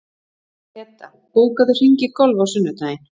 Peta, bókaðu hring í golf á sunnudaginn.